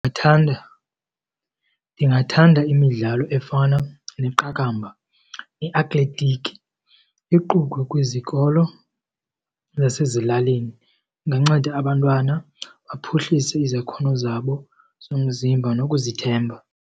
Ndithanda ndingathanda imidlalo efana neqakamba, i-athletic iqukwe kwizikolo zasezilalini. Inganceda abantwana baphuhlise izakhono zabo zomzimba nokuzithemba.